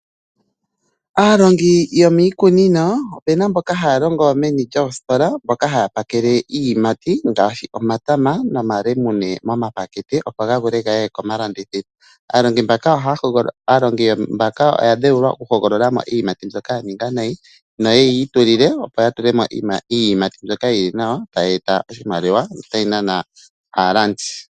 Aalongi yomiikunino, opena mboka haya longo meni lyoositola, mboka haya pakele iiyimati ngaashi, omatama nomalemune moma pakete opo ga vule gaye komalandithilo. Aalongi mbaka oya dheulwa oku hogolola mo iiyimati mbyoka ya ninga nayi noye yiitulile, opo ya tulemo iiyimati mbyoka yili nawa, tayi eta oshimaliwa, notayi nana aalandi.